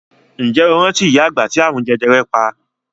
Ǹjẹ́ o rántí ìyá àgbà ti àrùn jẹjẹrẹ pa?